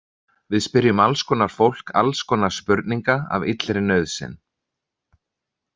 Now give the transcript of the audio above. Við spyrjum alls konar fólk alls konar spurninga af illri nauðsyn.